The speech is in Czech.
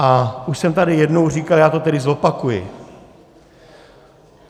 A už jsem tady jednou říkal, já to tedy zopakuji.